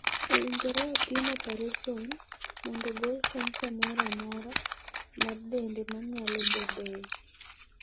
Owinjore otim opereson mondo ogol kansa moro amora mar dende ma nyalo bedoe.